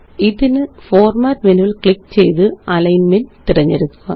ഇതിന്Format മെനുവില് ക്ലിക്ക് ചെയ്ത് അലിഗ്ന്മെന്റ് തിരഞ്ഞെടുക്കുക